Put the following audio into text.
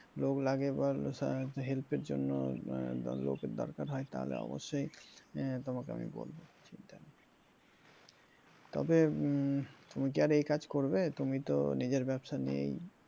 লোক লাগে বা help এর জন্য লোক এর দরকার হয় তাহলে অবশ্যই তোমাকে আমি বলবো চিন্তা নেই তবে উম তুমি কি আর এই কাজ করবে তুমি তো নিজের ব্যবসা নিয়েই